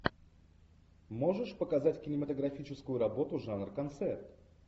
можешь показать кинематографическую работу жанр концерт